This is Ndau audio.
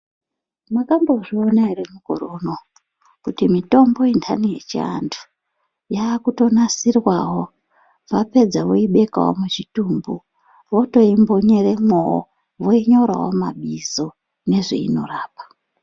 Makambozviona here mukore unowu kuti mitombo yendani yechiandu yakutonasirwawo wapedza woibekawo muchitumbu votoimbonyeremowo woinyorawo mabizo nezveinorapa.